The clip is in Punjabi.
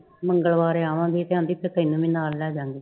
ਮੰਗਲਵਾਰ ਆਵਾਂਗੇ ਤੇ ਕਹਿੰਦੀ ਫਿਰ ਤੈਨੂੰ ਵੀ ਨਾਲ ਲੈ ਜਾਵਾਂਗੇ।